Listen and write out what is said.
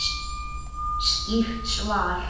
Skýrt svar!